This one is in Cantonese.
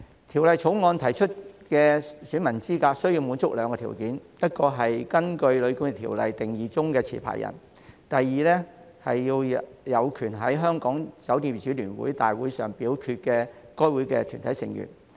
《條例草案》提出的選民資格須滿足兩個條件：第一，是根據《旅館業條例》定義中的持牌人；第二，是有權在香港酒店業主聯會的大會上表決的該會的團體成員。